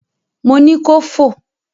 Mo ni kò fò!